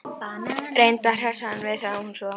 Reyndu að hressa hann við sagði hún svo.